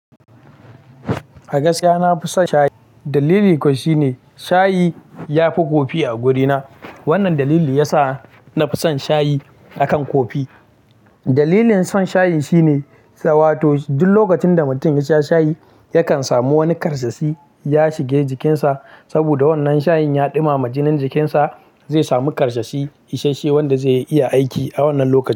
A gaskiya na fi son shayi. Dalili kuwa shine shayi yafi coffee a wurina. Wannan dalili yasa nafi son shayi akan coffee. Dalilin son shayi shine, saboda duk lokacin da mutum yasha shayi yakan samu wani karsashi ya shige jikinsa. Saboda wannan shayin ya ɗumama jinin jikinsa zai samu karsashi isashe wanda zai iya aiki a wannan lokaci.